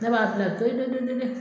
Ne b'a fila to ye to ye to ye to ye